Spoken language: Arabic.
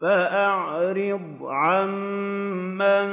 فَأَعْرِضْ عَن مَّن